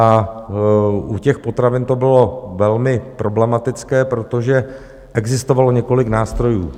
A u těch potravin to bylo velmi problematické, protože existovalo několik nástrojů.